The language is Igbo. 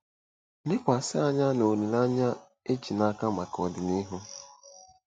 Lekwasị anya na olileanya e ji n'aka maka ọdịnihu.